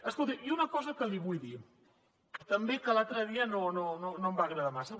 escolti i una cosa que li vull dir també que l’altre dia no em va agradar massa